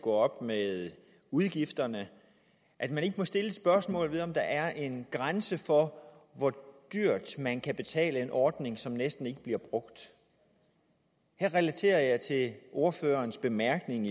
gå op med udgifterne må stille spørgsmålet om hvorvidt der er en grænse for hvor dyrt man kan betale en ordning som næsten ikke bliver brugt her relaterer jeg til ordførerens bemærkning